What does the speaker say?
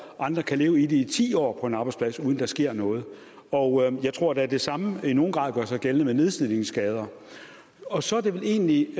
andre kan leve i det i ti år på en arbejdsplads uden at der sker noget og jeg tror da det samme i nogen grad gør sig gældende med nedslidningsskader og så er det vel egentlig